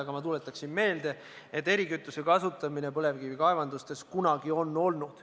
Aga ma tuletan meelde, et erikütuse kasutamine põlevkivikaevandustes on kunagi juba olnud.